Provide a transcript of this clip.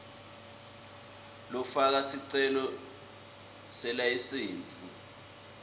lofaka sicelo selayisensi